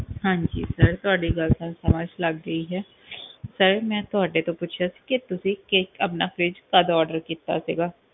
ਹਾਂਜੀ sir ਤੁਹਾਡੀ ਗੱਲ ਤਾਂ ਸਮਝ ਲੱਗ ਗਈ ਹੈ sir ਮੈਂ ਤੁਹਾਡੇ ਤੋਂ ਪੁੱਛਿਆ ਸੀ ਕਿ ਤੁਸੀਂ ਕਿ ਆਪਣਾ fridge ਕਦੋਂ order ਕੀਤਾ ਸੀਗਾ?